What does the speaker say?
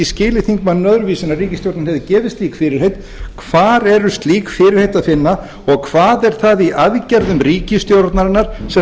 skilið þingmanninn öðruvísi en að ríkisstjórnin hefði gefið slík fyrirheit hvar er slík fyrirheit að finna og hvað er það í aðgerðum ríkisstjórnarinnar sem